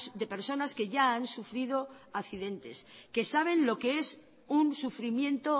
de personas que ya han sufrido accidentes que saben lo que es un sufrimiento